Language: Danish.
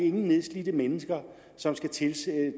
ingen nedslidte mennesker som skal tvinges